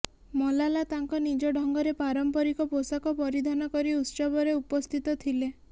ମଲାଲା ତାଙ୍କ ନିଜ ଢଙ୍ଗରେ ପାରମ୍ପରିକ ପୋଷାକ ପରିଧାନ କରି ଉତ୍ସବରେ ଉପସ୍ଥିତ ଥିଲେ